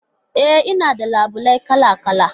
E, Ina da labule kala-kala